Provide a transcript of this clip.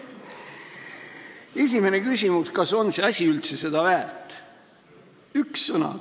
Esimene küsimus: kas see asi on üldse seda väärt?